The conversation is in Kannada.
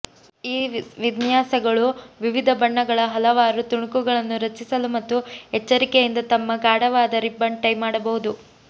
ಈ ವಿನ್ಯಾಸಗಳು ವಿವಿಧ ಬಣ್ಣಗಳ ಹಲವಾರು ತುಣುಕುಗಳನ್ನು ರಚಿಸಲು ಮತ್ತು ಎಚ್ಚರಿಕೆಯಿಂದ ತಮ್ಮ ಗಾಢವಾದ ರಿಬ್ಬನ್ ಟೈ ಮಾಡಬಹುದು